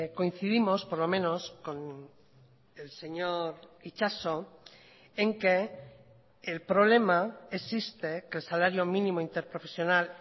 coincidimos por lo menos con el señor itxaso en que el problema existe que el salario mínimo interprofesional